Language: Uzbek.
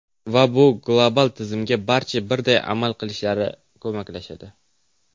Va bu global tizimga barcha birday amal qilishiga ko‘maklashadi.